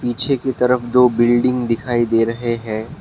पीछे की तरफ दो बिल्डिंग दिखाई दे रहे हैं।